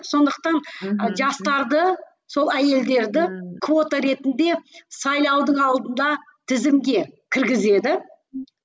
сондықтан ы жастарды сол әйелдерді квота ретінде сайлаудың алдында тізімге кіргізеді